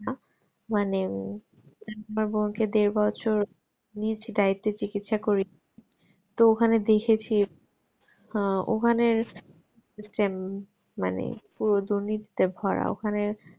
মানে আহ একবার বলছে দেড় বছর নিয়েছি দায়িত্বে চিকিৎসা করতে তো ওখানে দেখেছি আহ ওখানে same মানে পুরো দুর্নীতিতে ভরা ওখানে